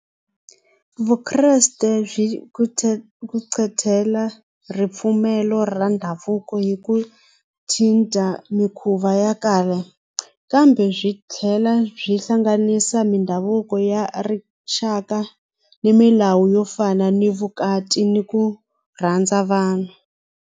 Vukreste byi kucetela ripfumelo ra ndhavuko hi ku cinca mikhuva ya kambe byi tlhela byi hlanganisa mindhavuko ya rixaka ni milawu yo fana ni vukati ni ku rhandza vanhu.